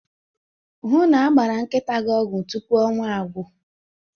Hụ na a gbara nkịta ọgwụ tupu ọnwa agwụ.